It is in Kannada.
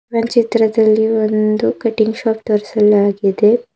ಒಂದ್ ಚಿತ್ರದಲ್ಲಿ ಒಂದು ಕಟಿಂಗ್ ಶಾಪ್ ತೋರಿಸಲಾಗಿದೆ.